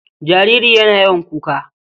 Jariri yana yawan kuka.